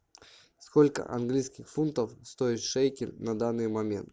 сколько английских фунтов стоит шекель на данный момент